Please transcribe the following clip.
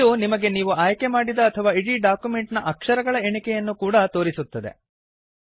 ಇದು ನಿಮಗೆ ನೀವು ಆಯ್ಕೆ ಮಾಡಿದ ಅಥವಾ ಇಡೀ ಡಾಕ್ಯುಮೆಂಟ್ ನ ಅಕ್ಷರಗಳ ಎಣಿಕೆಯನ್ನೂ ಕೂಡಾ ತೋರಿಸುತ್ತದೆ